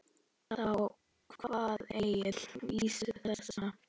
Þá kvað Egill vísu þessa: